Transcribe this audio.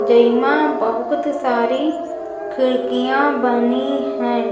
जईमा बहुकत सारी खिड़कियां बनी हैं।